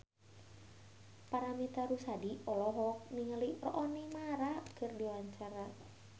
Paramitha Rusady olohok ningali Rooney Mara keur diwawancara